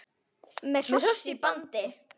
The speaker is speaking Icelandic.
Með hross í bandi.